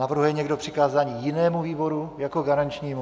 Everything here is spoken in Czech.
Navrhuje někdo přikázání jinému výboru jako garančnímu?